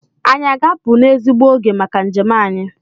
Anyị a ga-apụ n'ezigbo oge maka njem anyị?